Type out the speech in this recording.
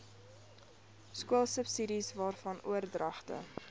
skoolsubsidies waarvan oordragte